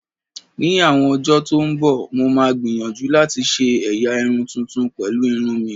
Ní àwọn ọjọ́ tó ń bọ̀, mo máa gbìyànjú láti ṣe ẹ̀yà irun tuntun pẹ̀lú irun mi